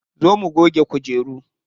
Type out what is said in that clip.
Zo mu goge kujeru.